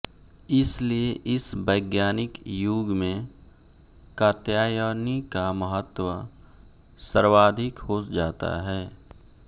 इसीलिए इस वैज्ञानिक युग में कात्यायनी का महत्व सर्वाधिक हो जाता है